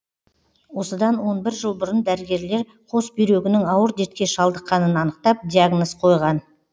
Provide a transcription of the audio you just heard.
осыдан он бір жыл бұрын дәрігерлер қос бүйрегінің ауыр дертке шалдыққанын анықтап диагноз қойған